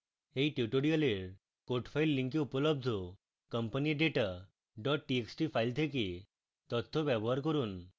এই tutorial code file link উপলব্ধ companyadata txt file থেকে তথ্য ব্যবহার করুন